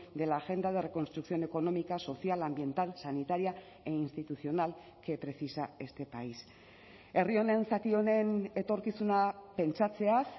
de la agenda de reconstrucción económica social ambiental sanitaria e institucional que precisa este país herri honen zati honen etorkizuna pentsatzeaz